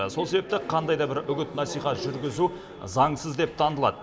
сол себепті қандай да бір үгіт насихат жүргізу заңсыз деп танылады